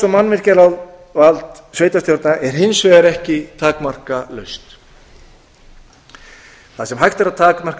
og mannvirkjavald sveitarstjórna er hins vegar ekki takmarkalaust þar sem hægt er að takmarka